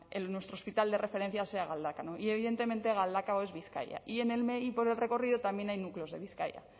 nuestro hospital de referencia sea galdakao y evidentemente galdakao es bizkaia y por el recorrido también hay núcleos de bizkaia